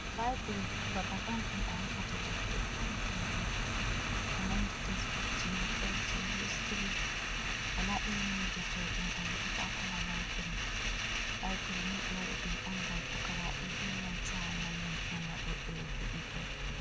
Laibiri, babal on ton a heɓata defte fere-fere, ko nandi tesebuk, ko hauti histiri, wala irin ni deftere ɗum a heɓatako ha laibri. Laibiri ni ɓe waɗi ɗum , on gam pukaraɓe be nanta mallum en waɗo ɓe viɗitol.